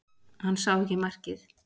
Hann sá ekki markið